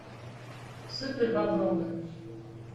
супербобровы